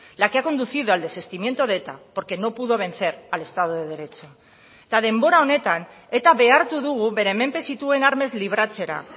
la que ha conducido al desistimiento de eta porque no pudo vencer al estado de derecho eta denbora honetan eta behartu dugu bere menpe zituen armez libratzera